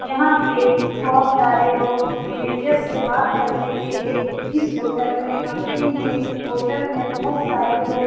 यहाँ पे बोहत सारे लोग मेनेजर से बात करने के लिए इस होटल में आते हैं। होटल में बहुत सारे लोग --